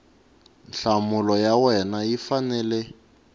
nhlamulo ya wena yi fanele